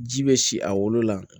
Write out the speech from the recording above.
Ji bɛ si a wolo la